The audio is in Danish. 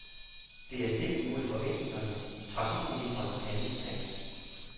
Det er stik imod forventningerne i trafikministerens handlingsplan.